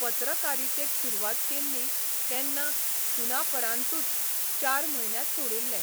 पत्रकारितेक सुरवात केल्ली तेन्ना 'सुनापरान्तू'च चार म्हयन्यांत सोडिल्लें.